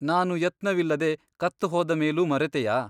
ನಾನು ಯತ್ನವಿಲ್ಲದೆ ಕತ್ತು ಹೋದ ಮೇಲೂ ಮರೆತೆಯಾ ?